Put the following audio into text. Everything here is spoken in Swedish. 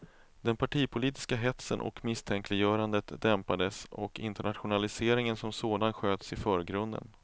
Den partipolitiska hetsen och misstänkliggörandet dämpades och internationaliseringen som sådan sköts i förgrunden.